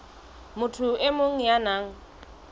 motho e mong ya nang